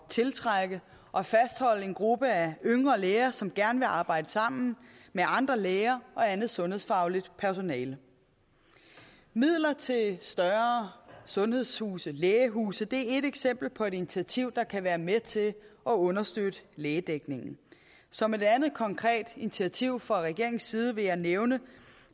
tiltrække og fastholde en gruppe af yngre læger som gerne vil arbejde sammen med andre læger og andet sundhedsfagligt personale midler til større sundhedshuse lægehuse er ét eksempel på et initiativ der kan være med til at understøtte lægedækningen som et andet konkret initiativ fra regeringens side vil jeg nævne